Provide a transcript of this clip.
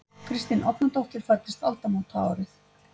Kristín Árnadóttir fæddist aldamótaárið.